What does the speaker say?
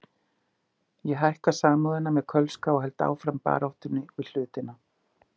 Ég hækka Samúðina með Kölska og held áfram baráttunni við hlutina.